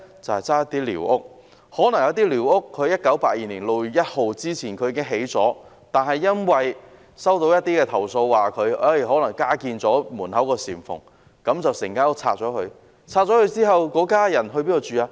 有些寮屋可能在1982年6月1日前已搭建，但因為收到一些投訴，例如指門口加建了簷蓬，因此要將整間屋拆卸。